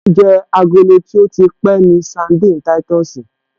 Oúnjẹ agolo tí ó ti pẹ́ ni sandini táìtọ̀sì